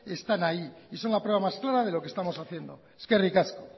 están ahí y son la prueba más clara de lo que estamos haciendo eskerrik asko